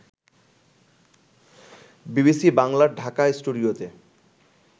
BBC বাংলার ঢাকা স্টুডিওতে